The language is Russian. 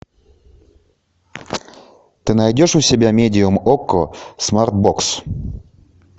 ты найдешь у себя медиум окко смарт бокс